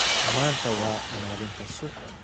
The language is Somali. Maanta waa maalinta suuqa.